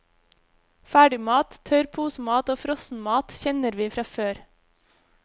Ferdigmat, tørr posemat og frossenmat kjenner vi fra før.